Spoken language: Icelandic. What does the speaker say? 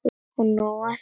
Og nóg er af því.